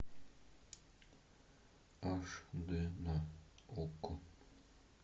аш дэ на окко